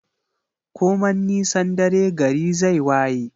Koman nisan dare gari zai waye